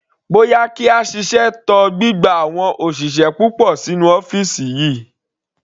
Bóyá kí a ṣiṣẹ́ tọ gbígba àwọn òṣìṣẹ́ púpọ̀ sínú ọ́fìsì wa.